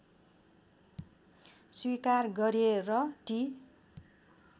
स्वीकार गरे र ती